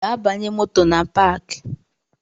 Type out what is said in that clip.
Jee banye moto na paki